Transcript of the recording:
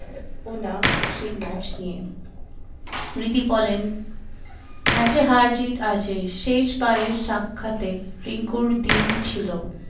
সেই ম্যাচ নিয়ে রিদি বলেন ম্যাচে হার জিত আছে শেষ বারের সাক্ষাতে রিঙ্কুর দিন ছিল